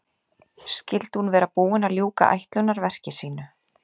Skyldi hún vera búin að ljúka ætlunarverki sínu?